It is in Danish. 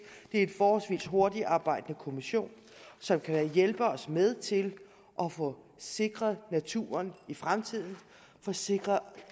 det er en forholdsvis hurtigarbejdende kommission som kan hjælpe os med til at få sikret naturen i fremtiden få sikret